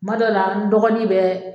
Tuma dɔ la n dɔgɔnin bɛ